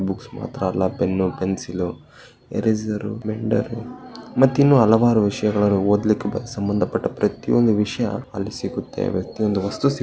books ಮಾತ್ರ ಅಲ್ಲ pen pencil eraser ಮೆಂಡೆರ್ ಮತ್ತೆ ಇನ್ನು ಹಲವಾರು ವಿಷಯಗಳು ಓದಲಿಕ್ಕೆ ಸಂಬಂಧಪಟ್ಟ ಪ್ರತಿಯೊಂದು ವಿಷಯ ಅಲ್ಲಿ ಸಿಗುತ್ತೆ ಪ್ರತಿಯೊಂದು ವಸ್ತು --